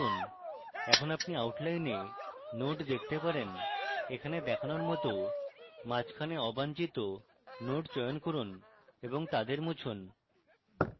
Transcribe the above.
এখন আপনি outline nodes দেখতে পারেন এখানে দেখানোর মত মাঝখানে অবাঞ্ছিত nodes চয়ন করুন এবং তাদের মুছুন